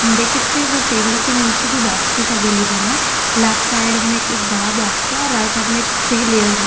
हम देख सकते हैं वो टेबल के नीचे भी बॉक्सेस अवेलेबल है लाफ्ट साइड में एक बड़ा बॉक्स है और राइट साइड में थ्री लेयर्स --